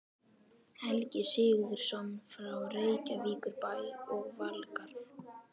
Helgi Sigurðsson frá Reykjavíkurbæ og Valgarð